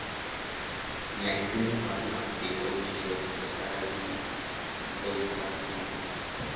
my spraying partner dey always check expiry date before we start season